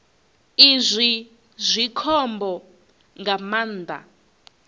izwi zwi khombo nga maanḓa